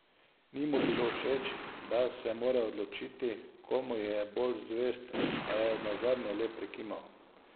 Ni mu bilo všeč, da se mora odločiti, komu je bolj zvest, a je nazadnje le prikimal.